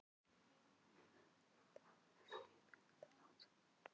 Fjólmundur, heyrðu í mér eftir átján mínútur.